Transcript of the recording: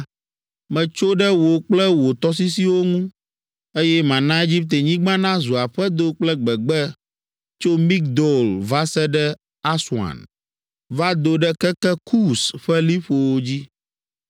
metso ɖe wò kple wò tɔsisiwo ŋu, eye mana Egiptenyigba nazu aƒedo kple gbegbe tso Migdol va se ɖe Aswan, va do ɖe keke Kus ƒe liƒowo dzi.